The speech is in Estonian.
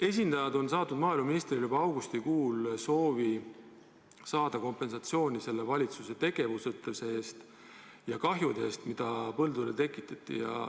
Esindajad on saatnud maaeluministrile juba augustikuus soovi saada kompensatsiooni valitsuse tegevusetuse eest ja hüvitust nende kahjude eest, mida põldudele tekitati.